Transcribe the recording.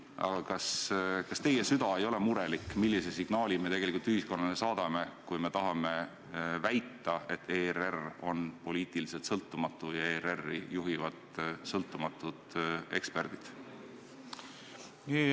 Aga kas teie süda ei ole murelik, millise signaali me tegelikult ühiskonnale saadame, kui tahame väita, et ERR on poliitiliselt sõltumatu ja seda juhivad sõltumatud eksperdid?